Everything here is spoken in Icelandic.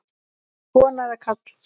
Kona eða karl?